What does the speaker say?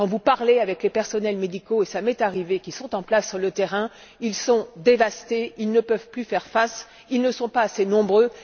Quand vous parlez avec les personnels médicaux et ça m'est arrivé qui sont en place sur le terrain, ils sont dévastés, ils ne peuvent plus faire face, ils ne sont pas assez nombreux.